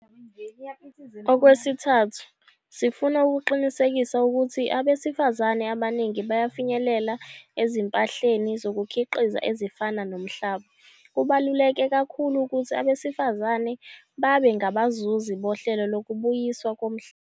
Okwesithathu, sifuna ukuqinisekisa ukuthi abesifazane abaningi bayafinyelela ezimpahleni zokukhiqiza ezifana nomhlaba. Kubaluleke kakhulu ukuthi abesifazane babe ngabazuzi bohlelo lokubuyiswa komhlaba.